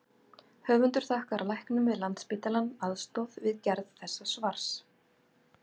Höfundar þakkar læknum við Landspítalann aðstoð við gerð þessa svars.